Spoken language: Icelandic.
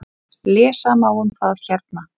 Lesa má um það hérna.